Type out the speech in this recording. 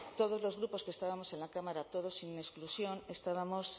todos los grupos que estábamos en la cámara todos sin exclusión estábamos